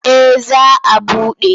Eh za a buɗe.